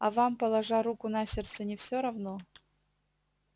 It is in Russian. а вам положа руку на сердце не всё равно